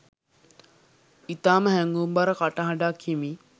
ඉතාම හැඟුම්බර කටහඬක් හිමි